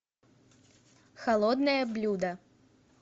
холодное блюдо